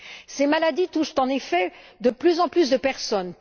Ces maladies touchent, en effet, de plus en plus de personnes